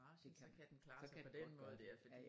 Det kan så kan det godt